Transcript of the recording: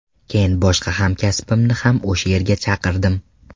Keyin boshqa hamkasbimni ham o‘sha yerga chaqirdim.